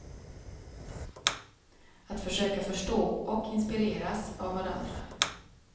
Att försöka förstå och inspireras av varandra.